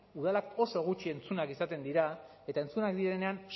udalak oso gutxi entzunak izaten dira eta entzunak direnean